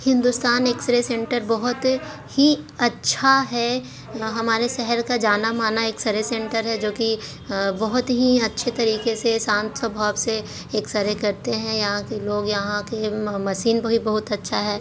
Hindustan X-ray centre बहुत ही अच्छा हैं। यह हमारे शहर का जाना मना एक्स-रे शेंटर हैं। जो की बहोत ही अच्छे तरीखे से शांत स्वभाव से एक्स-रे करते हैं। यहा के लोग यहा आके म-मशीन भी बहुत अच्छा हैं।